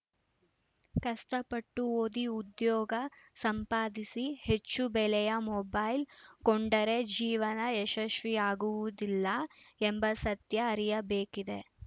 ಕಷ್ಟಪಟ್ಟು ಓದಿ ಉದ್ಯೋಗ ಸಂಪಾದಿಸಿ ಹೆಚ್ಚು ಬೆಲೆಯ ಮೊಬೈಲ್‌ ಕೊಂಡರೆ ಜೀವನ ಯಶಸ್ವಿಯಾಗುವುದಿಲ್ಲ ಎಂಬ ಸತ್ಯ ಅರಿಯಬೇಕಿದೆ